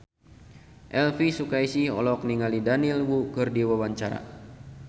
Elvi Sukaesih olohok ningali Daniel Wu keur diwawancara